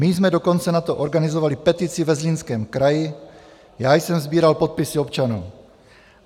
My jsme dokonce na to organizovali petici ve Zlínském kraji, já jsem sbíral podpisy občanů.